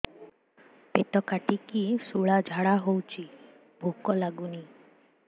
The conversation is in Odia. ପେଟ କାଟିକି ଶୂଳା ଝାଡ଼ା ହଉଚି ଭୁକ ଲାଗୁନି